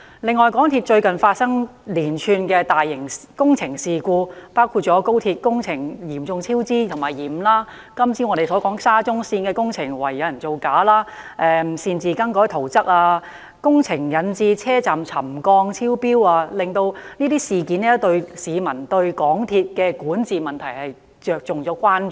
此外，港鐵最近發生連串大型工程事故，包括廣深港高速鐵路工程嚴重超支和延誤、我們早前討論的沙田至中環線工程懷疑有人造假、擅自更改圖則和工程引致車站沉降超標等，連番事故令市民對香港鐵路有限公司的管治問題產生關注。